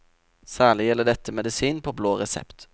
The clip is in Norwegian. Særlig gjelder dette medisin på blå resept.